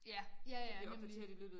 Ja ja ja nemlig